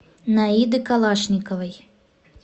наиды калашниковой